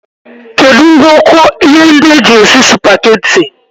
Kedu ngwoko ihe ndi eji esi supageti?